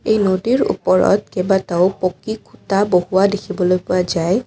এই নদীৰ ওপৰত কেইবাটাও পকী খুঁটা বহুওৱা দেখিবলৈ পোৱা যায়।